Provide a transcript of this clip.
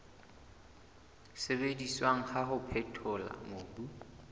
sebediswang wa ho phethola mobu